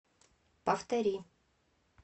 повтори